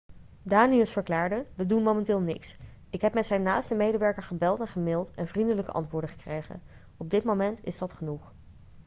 danius verklaarde 'we doen momenteel niks. ik heb met zijn naaste medewerker gebeld en gemailed en vriendelijke antwoorden gekregen. op dit moment is dat genoeg.'